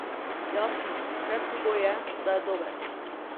Jasno, predpogoj je, da je dober.